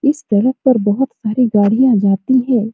इस सड़क पर बहुत सारी गाड़ियां जाती है।